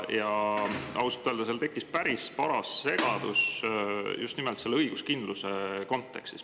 Ausalt öeldes tekkis päris paras segadus just nimelt õiguskindluse kontekstis.